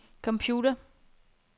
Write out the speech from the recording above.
computer